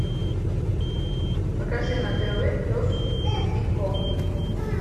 покажи на тв пес и ко